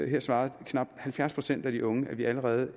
her svarede knap halvfjerds procent af de unge at vi allerede